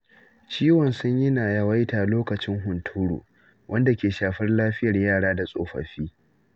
Ciwon sanyi na yawaita lokacin hunturu, wanda ke shafar lafiyar yara da tsofaffi.